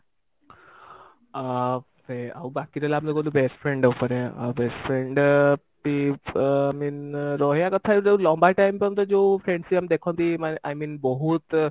ଆ ଏ ଆଉ ବାକି ରହିଲା ଆମର ଯଉ best friend ଉପରେ ଆଉ best friend ବି i mean ରହିବା କଥା ଗୋଟେ ଲମ୍ବା time ପନ୍ତେ ଯଉ friendship ଆମେ ଦେଖନ୍ତି ମାନେ i mean ବହୁତ